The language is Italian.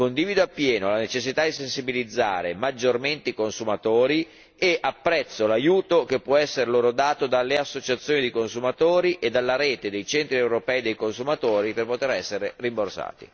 Condivido appieno la necessità di sensibilizzare maggiormente i consumatori e apprezzo l'aiuto che può essere dato loro dalle associazioni dei consumatori e dalla rete dei centri europei dei consumatori per poter essere rimborsati.